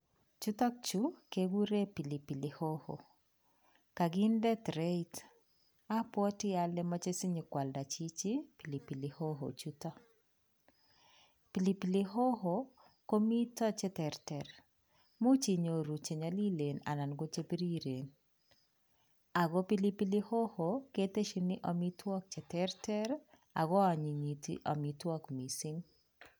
Chuton Chu kekuren pilipili how kakinde treit abwati Kole mache sikwalda Chichi pilipili how chuton, pilipili how komiten cheterter, imuche inyoru Che nyalilen anan kochebiriren ako pilipili how keteshin amitwakik cheterter akoanyinyiti amitwakik mising